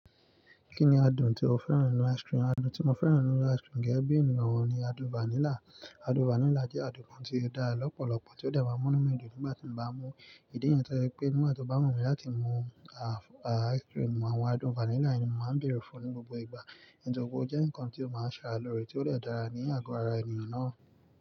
Kí ni adùn tí o fẹ́ràn nínú ice cream? Adùn tí mo fẹ́ràn nínú ice cream gẹ́gẹ́ bí ènìyàn ọ̀hún ni adùn vanilla. Adùn vanilla jẹ́ adùn kan tí ó dára lọ́pọ̀lọpọ̀ tí ó dè ma ń mú inú mi dùn nígbà tí mo bá mú. Ìdí nìyẹn tọ́je wí pé nígbà tí ó bá wù mí láti mú ìdí nìyí tọ́je pé nígbà tí ó bá wù mí láti mú nítorí pẹ ó jẹ́ ǹkan tí ó máa ń ṣàra lòrẹ́ tí ó dè dára ní àgọ́ ara ènìyàn náà.